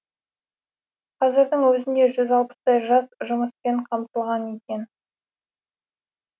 қазірдің өзінде жүз алпыстай жас жұмыспен қамтылған екен